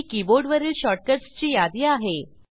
ही कीबोर्डवरील शॉर्टकट्स ची यादी आहे